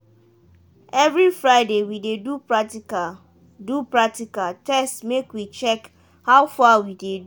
every friday we dey do practical do practical test make we check how far we dey do.